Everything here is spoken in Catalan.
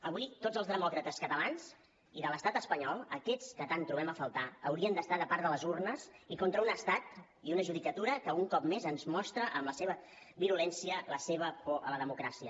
avui tots els demòcrates catalans i de l’estat espanyol aquests que tant trobem a faltar haurien d’estar de part de les urnes i contra un estat i una judicatura que un cop més ens mostra amb la seva virulència la seva por a la democràcia